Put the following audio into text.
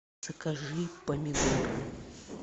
закажи помидоры